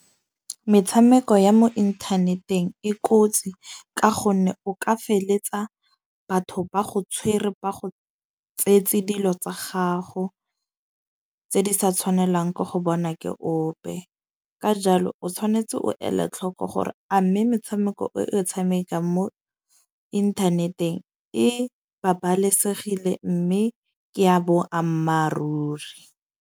Metshameko ya mo inthaneteng e kotsi. Ka gonne o ka feletsa batho ba go tshwere ba go tsetse dilo tsa gago, tse di sa tshwanelang ke go bona ke ope. Ka jalo o tshwanetse o ela tlhoko gore a mme metshameko e o tshamekang mo inthaneteng e babalesegile. Mme ke a boammaaruri.